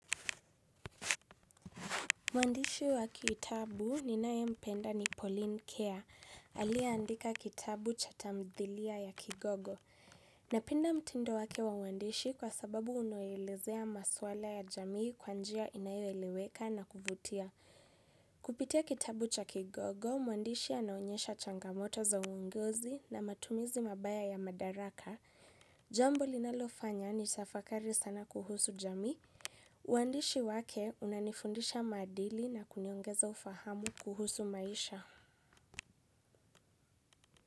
Mwandishi wa kitabu ninaye mpenda ni Pauline Care aliyeandika kitabu cha tamthilia ya Kigogo. Napenda mtindo wake wa uandishi kwa sababu unaelezea maswala ya jamii kwa njia inayoeleweka na kuvutia. Kupitia kitabu cha Kigogo, mwandishi anaonyesha changamoto za uongozi na matumizi mabaya ya madaraka. Jambo linalofanya nitafakari sana kuhusu jamii. Uandishi wake unanifundisha maadili na kuniongeza ufahamu kuhusu maisha.